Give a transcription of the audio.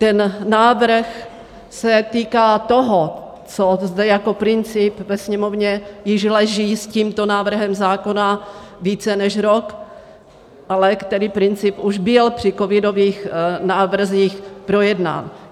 Ten návrh se týká toho, co zde jako princip ve Sněmovně již leží s tímto návrhem zákona více než rok, ale který princip už byl při covidových návrzích projednán.